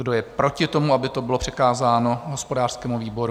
Kdo je proti tomu, aby to bylo přikázáno hospodářskému výboru?